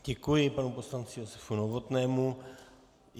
Děkuji panu poslanci Josefu Novotnému.